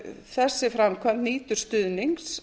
þessi framkvæmd nýtur stuðnings